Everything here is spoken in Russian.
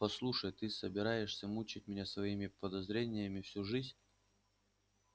послушай ты собираешься мучить меня своими подозрениями всю жизнь